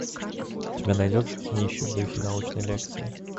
у тебя найдется кинище в духе научной лекции